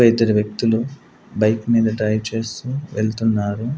ఇద్దరు వ్యక్తులు బైక్ మీద డ్రైవ్ చేస్తూ వెళ్తున్నారు.